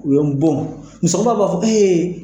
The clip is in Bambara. U ye n bon musokɔrɔba b'a fɔ ko ee